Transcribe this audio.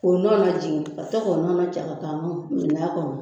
O nɔn na jigin ka to k'o